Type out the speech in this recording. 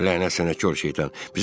Lənət sənə, kor şeytan!